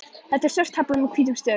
Þetta er svört tafla með hvítum stöfum.